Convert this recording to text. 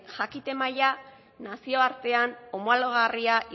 jakite maila nazioartean homologarria